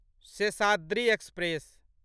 Seshadri express